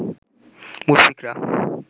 মুশফিকরা